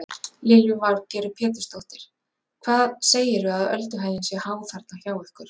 Lillý Valgerður Pétursdóttir: Hvað segirðu að ölduhæðin sé há þarna hjá ykkur?